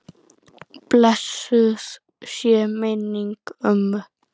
Blessuð sé minning ömmu.